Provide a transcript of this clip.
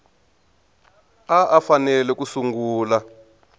a a fanele ku sungula